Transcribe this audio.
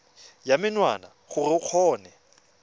ya menwana gore o kgone